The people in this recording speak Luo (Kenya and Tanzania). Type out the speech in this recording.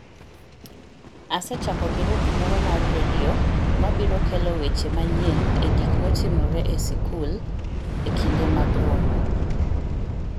Asechako girup moro mar redio mabiro kelo weche manyien egik motimore e skul ekinde mag romo .